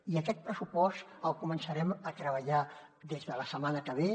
i aquest pressupost el començarem a treballar des de la setmana que ve